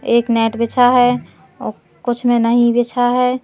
एक नेट बिछा है और कुछ में नहीं बिछा है।